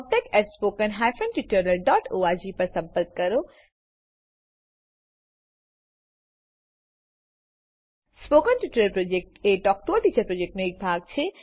spoken tutorial project talk to a teacher પ્રોજેક્ટનો એક ભાગ છે